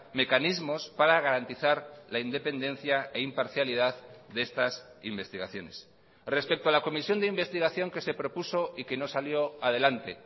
mecanismos para garantizar la independencia e imparcialidad de estas investigaciones respecto a la comisión de investigación que se propuso y que no salió adelante